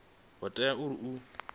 ho teaho uri hu ḓo